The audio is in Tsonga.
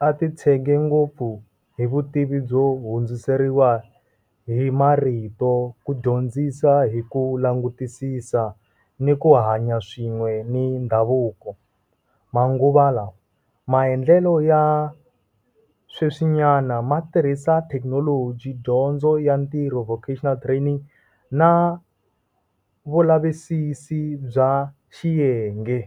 ya ti tshege ngopfu hi vutivi byo hundziseriwa hi marito ku dyondzisa hi ku langutisisa ni ku hanya swin'we ni ndhavuko, manguva lawa. Maendlelo ya sweswi nyana ma tirhisa thekinoloji dyondzo ya ntirho vocational training na vulavisisi bya xiyenge.